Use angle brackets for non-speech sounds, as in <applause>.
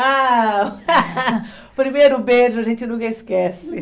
Ah, <laughs> o primeiro beijo a gente nunca esquece.